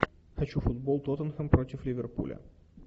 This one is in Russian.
хочу футбол тоттенхэм против ливерпуля